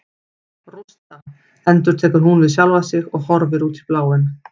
Rústa, endurtekur hún við sjálfa sig og horfir út í bláinn.